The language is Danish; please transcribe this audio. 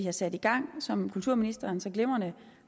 har sat i gang som kulturministeren så glimrende